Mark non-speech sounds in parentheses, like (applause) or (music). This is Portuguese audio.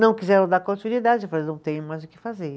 Não quiseram dar continuidade, (unintelligible) não tenho mais o que fazer.